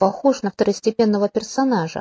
похож на второстепенного персонажа